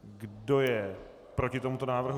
Kdo je proti tomuto návrhu?